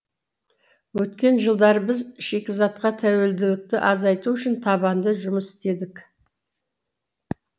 өткен жылдары біз шикізатқа тәуелділікті азайту үшін табанды жұмыс істедік